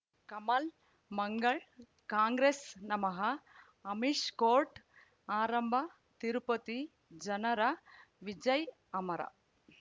ಕಮಲ್ ಮಂಗಳ್ ಕಾಂಗ್ರೆಸ್ ನಮಃ ಅಮಿಷ್ ಕೋರ್ಟ್ ಆರಂಭ ತಿರುಪತಿ ಜನರ ವಿಜಯ ಅಮರ್